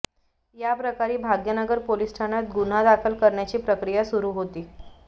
या प्रकरणी भाग्यनगर पोलीस ठाण्यात गुन्हा दाखल करण्याची प्रक्रिया सुरु होती